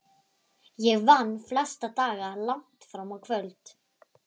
Ég vann flesta daga langt fram á kvöld.